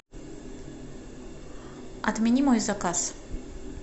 отмени мой заказ